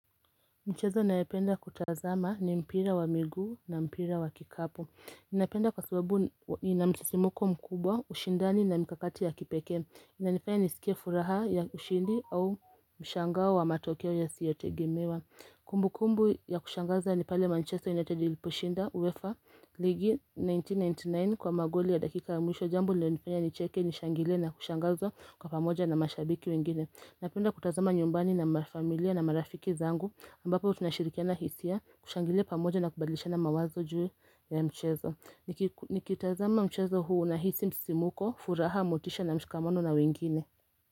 Mchezo nayoenda kutazama ni mpira wa miguu na mpira wa kikapu napenda kwa sababu ina msisimko mkubwa, ushindani na mikakati ya kipekee. Inanifaya nisikie furaha ya ushindi au mshangao wa matokeo yasiyotegemewa. Kumbukumbu ya kushangaza ni pale manchester United iliposhinda uwefa ligi 1999 kwa magoli ya dakika ya mwisho jambo. Ilionifanya nicheke nishangilie na kushangazwa kwa pamoja na mashabiki wengine. Napenda kutazama nyumbani na mafamilia na marafiki zangu ambapo tunashirikiana hisia kushangilia pamoja na kubadilishana mawazo juu ya mchezo. Nikitazama mchezo huu nahisi msisimuko, furaha, motisha na mshikamano na wengine.